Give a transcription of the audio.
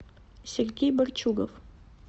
сергей борчугов